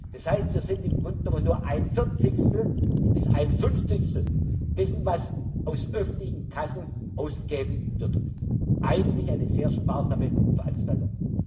Das heißt, wir sind im Grunde genommen nur ein Vierzigstel bis ein Fünfzigstel dessen, was aus öffentlichen Kassen ausgegeben wird, eigentlich eine sehr sparsame Veranstaltung.